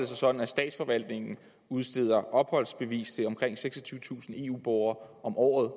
sig sådan at statsforvaltningen udsteder opholdsbevis til omkring seksogtyvetusind eu borgere om året